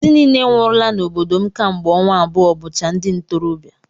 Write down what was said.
Ndị niile nwụrụla n'obodo m kemgbe ọnwa abụọ bụcha ndi ntorobịa